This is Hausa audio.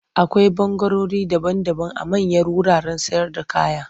Akwai ɓangarori daban-daban a manyan wuraren sayarda kaya.